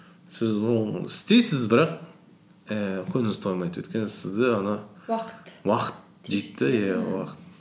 сіз оны істейсіз бірақ ііі көңіліңіз толмайды өйткені сізді уақыт уақыт жейді де иә уақыт